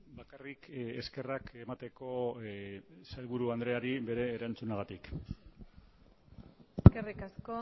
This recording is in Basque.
bakarrik eskerrak emateko sailburu andreari bere erantzunagatik eskerrik asko